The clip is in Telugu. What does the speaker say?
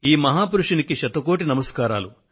ఈ మహాపురుషుడికి శతకోటి నమస్కారాలు